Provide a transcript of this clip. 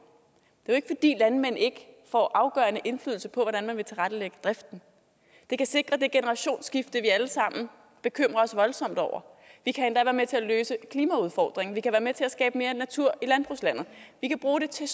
det er jo ikke fordi landmænd ikke får afgørende indflydelse på hvordan man vil tilrettelægge driften det kan sikre det generationsskifte vi alle sammen bekymrer os voldsomt over det kan endda være med til at løse klimaudfordringen vi kan være med til at skabe mere natur i landbrugslandet vi kan bruge det til